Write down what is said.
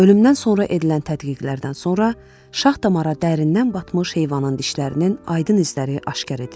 Ölümdən sonra edilən tədqiqatlardan sonra şax damara dərindən batmış heyvanın dişlərinin aydın izləri aşkar edildi.